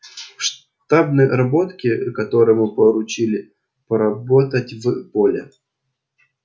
штабной работки которому поручили поработать в поле